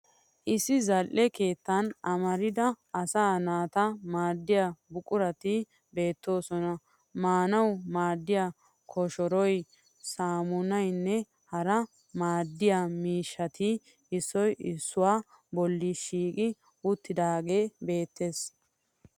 Issi zal'e keettan amarida asaa naata maaddiya buqurati beettoosona. Maanawu maaddiya koshoroy, saammunayinne hara maaddiya miishshati issoy issuwaa bolli shiiqi uttidaagee beettes.